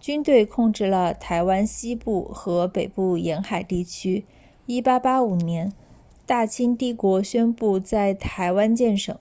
军队控制了台湾西部和北部沿海地区1885年大清帝国宣布在台湾建省